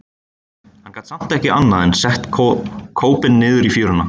Hann gat samt ekki annað en sett kópinn niður í fjöruna.